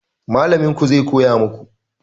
Mallamin ku zai koya maku